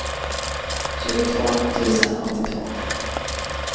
tjugotvå tusen åttiotvå